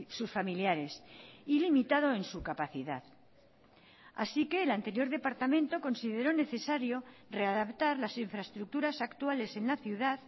sus familiares y limitado en su capacidad así que el anterior departamento consideró necesario readaptar las infraestructuras actuales en la ciudad